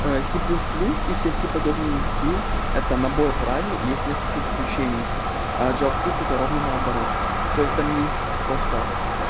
ээ си плюс плюс и все си подобные языки это набор правил и есть несколько исключений а джава скрипт это ровно наоборот то есть там есть просто